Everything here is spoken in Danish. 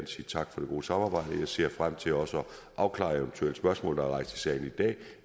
sige tak for det gode samarbejde og jeg ser frem til også at afklare eventuelle spørgsmål der er rejst i salen i dag